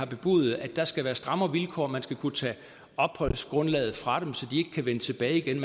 bebudet at der skal være strammere vilkår at man skal kunne tage opholdsgrundlaget fra dem så de ikke kan vende tilbage igen